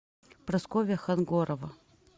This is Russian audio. прасковья хангорова